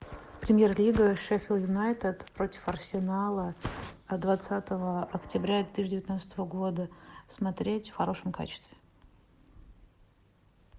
премьер лига шеффилд юнайтед против арсенала от двадцатого октября две тысячи девятнадцатого года смотреть в хорошем качестве